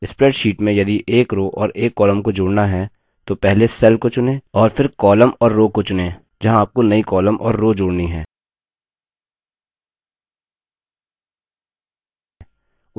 spreadsheet में यदि एक row और एक column को जोड़ना है तो पहले cell को चुनें और फिर column और row को चुनें जहाँ आपको नई column और row जोड़नी हैं